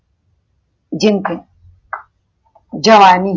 જેમકે જવાની